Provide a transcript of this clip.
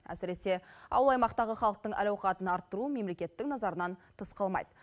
әсіресе ауыл аймақтағы халықтың әл ауқатын арттыру мемлекеттің назарынан тыс қалмайды